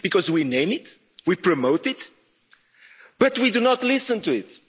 We name it, we promote it, but we do not listen to it.